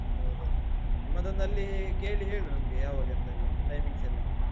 ಹೌದು ನಿಮ್ಮದೊಂದು ಅಲ್ಲಿ ಕೇಳಿ ಹೇಳು ನಮ್ಗೆ ಯಾವಾಗ ಎಂತ ಎಲ್ಲ, timings ಎಲ್ಲ.